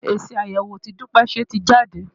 Èsì àyẹ̀wò tí Dúpẹ́ ṣe ti jáde.